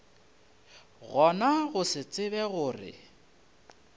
gona go se tsebe gore